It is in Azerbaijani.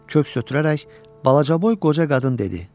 Kök ötürərək balacaboy qoca qadın dedi: